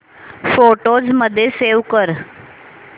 photos मध्ये save कर